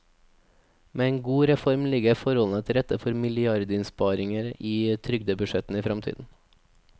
Med en god reform ligger forholdene til rette for milliardinnsparinger i trygdebudsjettene i fremtiden.